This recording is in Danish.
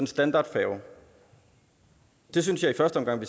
standardfærge der synes jeg i første omgang